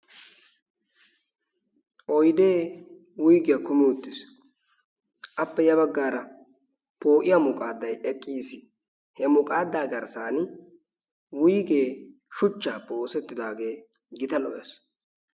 Oydee wuygiya kumi uttiis. Appe ya baggaara poo"iya muqaaddayi eqqiis. He muqaaddaa garssaani wuygee shuchchaappe oosettidaagee gita lo"ees.